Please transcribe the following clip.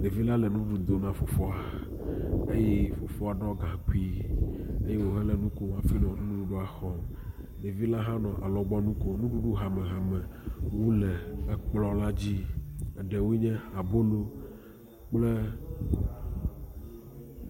Devi la le nuɖuɖu dom na foafoa eye foafoa ɖɔ Dɛɛ eye wohɔ le nu kom hafi le nuɖuɖua xɔm. Ɖevi la hã le alɔgbɔnu kom. Nuɖuɖu hamehamewo le ekplɔ la dzi eɖewoe nye abolo Dʋkple